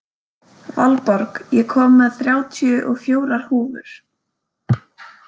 Valborg, ég kom með þrjátíu og fjórar húfur!